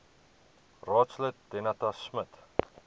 raadslid danetta smit